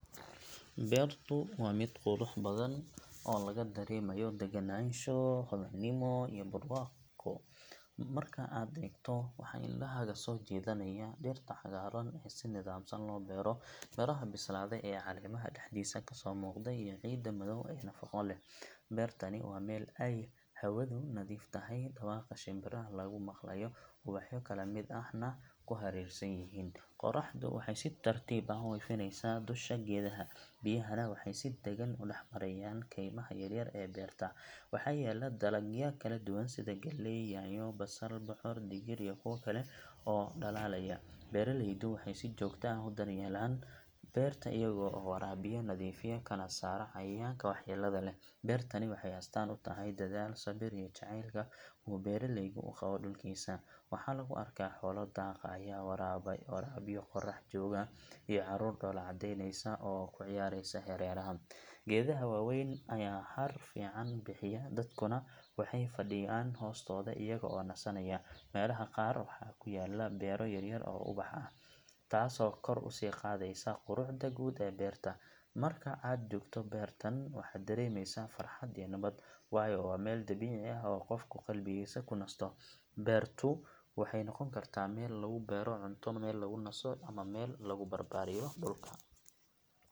Beertu waa mid qurux badan oo laga dareemayo degganaansho, hodannimo iyo barwaaqo. Marka aad eegto, waxaa indhahaaga soo jiidanaya dhirta cagaaran ee si nidaamsan loo beero, midhaha bislaaday ee caleemaha dhexdiisa ka soo muuqanaya iyo ciidda madow ee nafaqo leh. Beertani waa meel ay hawadu nadiif tahay, dhawaqa shimbiraha laga maqlayo, ubaxyo kala midab ahna ay ku hareeraysan yihiin. Qorraxdu waxay si tartiib ah u ifinaysaa dusha geedaha, biyahana waxay si daggan u dhex marayaan kaymaha yaryar ee beerta. Waxaa yaalla dalagyo kala duwan sida galley, yaanyo, basal, bocor, digir iyo kuwa kale oo dhalaalaya. Beeraleydu waxay si joogto ah u daryeelaan beerta iyaga oo waraabiya, nadiifiya, kana saara cayayaanka waxyeellada leh. Beertani waxay astaan u tahay dadaal, sabir iyo jacaylka uu beeraleygu u qabo dhulkiisa. Waxaa lagu arkaa xoolo daaqaya, waraabiyo qorrax jooga, iyo carruur dhoolla caddeynaysa oo ku ciyaaraysa hareeraha. Geedaha waaweyn ayaa hadh fiican bixiya, dadkuna waxay fadhiyaan hoostooda iyaga oo nasanaya. Meelaha qaar waxaa ku yaalla beero yaryar oo ubax ah, taasoo kor u sii qaadaysa quruxda guud ee beerta. Marka aad joogto beertan, waxaad dareemaysaa farxad iyo nabad, waayo waa meel dabiici ah oo qofku qalbigiisa ku nasto. Beertu waxay noqon kartaa meel lagu beero cunto, meel lagu naso, ama meel lagu barbaariyo dhulka.